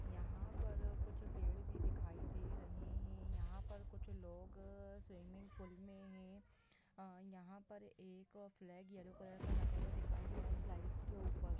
यहां पर कुछ पेड़ भी दिखाई दे रहे हैं यहां पर कुछ लोग स्विमिंग पूल में हैं यहां पर एक फ्लैग येलो कलर का लगा हुआ दिखाई दे रहा है स्लाइड के ऊपर ।